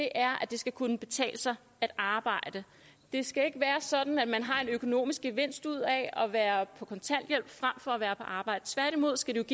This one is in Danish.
er at det skal kunne betale sig at arbejde det skal ikke være sådan at man har en økonomisk gevinst ud af at være på kontanthjælp frem for at være på arbejde tværtimod skal